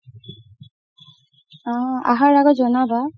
অ আহাৰ আগত জনাবা